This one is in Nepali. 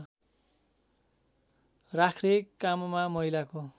राख्ने काममा महिलाको